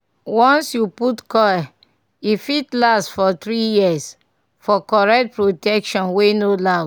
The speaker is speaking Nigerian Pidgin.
once you put coil e fit last for 3yrs -for correct protection wey no loud